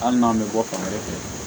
Hali n'an bɛ bɔ fan wɛrɛ fɛ